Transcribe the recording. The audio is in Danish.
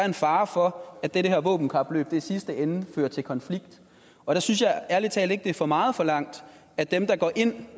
en fare for at det her våbenkapløb i sidste ende fører til konflikt og der synes jeg ærlig talt ikke det er for meget forlangt at dem der går ind